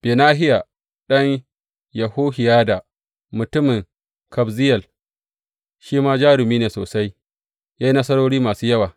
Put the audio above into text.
Benahiya, ɗan Yehohiyada mutumin Kabzeyel shi ma jarumi ne sosai, ya yi nasarori masu yawa.